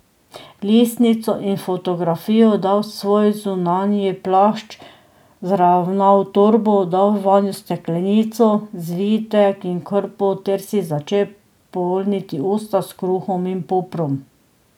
Listnico in fotografijo je dal v svoj zunanji plašč, vzravnal torbo, dal vanjo steklenico, zvitek in krpo ter si začel polniti usta s kruhom in poprom.